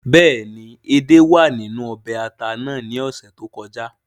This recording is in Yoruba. Béèni edé wàa ninu ọbè ata nàá ni ọsẹ to kọja